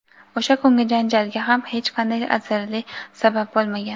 O‘sha kungi janjalga ham hech qanday arzirli sabab bo‘lmagan.